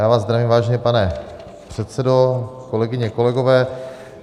Já vás zdravím, vážený pane předsedo, kolegyně, kolegové.